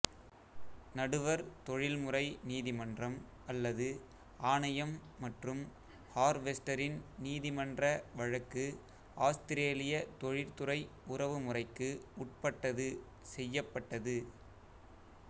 நடுவர் தொழில்முறை நீதிமன்றம் அல்லது ஆணையம் மற்றும் ஹார்வெஸ்டரின் நீதிமன்ற வழக்கு ஆஸ்திரேலிய தொழிற்துறை உறவுமுறைக்கு உட்பட்டது செய்யப்பட்டது